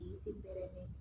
Yiri tɛ baara la dɛ